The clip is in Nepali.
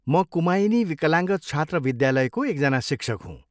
म कुमायिनी विकलाङ्ग छात्र विद्यालयको एकजना शिक्षक हुँ।